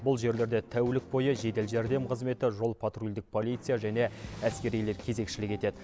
бұл жерлерде тәулік бойы жедел жәрдем қызметі жол патрульдік полиция және әскерилер кезекшілік етеді